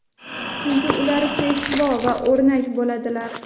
Chunki ular peshvo va o‘rnak bo‘ladilar.